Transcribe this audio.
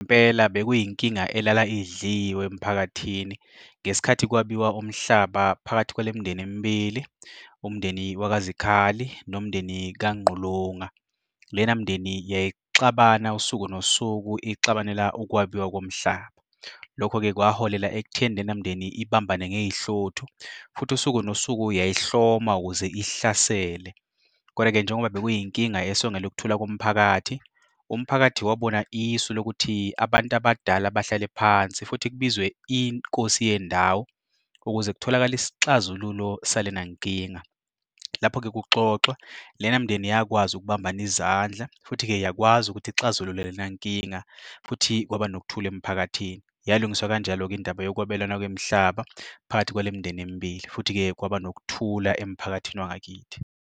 Impela bekuyinkinga elala idliwe emphakathini ngesikhathi kwabiwa umhlaba phakathi kwale mindeni emibili, umndeni wakaZikhali nomndeni kaNgqulunga. Lena mindeni yayixabana usuku nosuku ixabanela ukwabiwa komhlaba. Lokho-ke kwaholela ekutheni lena mindeni ibambane ngey'hluthu futhi usuku nosuku yayihloma ukuze ihlasele koda-ke njengoba bekuyinkinga esongela ukuthula komphakathi, umphakathi wabona isu lokuthi abantu abadala bahlale phansi futhi kubizwe inkosi yendawo ukuze kutholakale isixazululo salena nkinga. Lapho-ke kuxoxwa, lena mindeni yakwazi ukubambana izandla futhi-ke yakwazi ukuthi ixazulule lena nkinga, futhi kwaba nokuthula emphakathini. Yalungiswa kanjalo-ke indaba yokwabelana kwemihlaba phakathi kwale mindeni emibili, futhi-ke kwaba nokuthula emphakathini wangakithi.